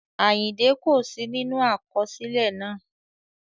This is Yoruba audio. Àyìndẹ́ kò sí nínú àkọsílẹ̀ náà